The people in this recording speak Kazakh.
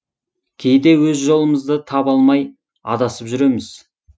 кейде өз жолымызды таба алмай адасып жүреміз